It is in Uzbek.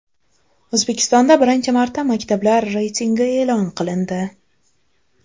O‘zbekistonda birinchi marta maktablar reytingi e’lon qilindi.